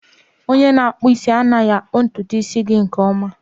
Onye na-akpụ isi anaghị akpụ ntutu isi gị nke ọma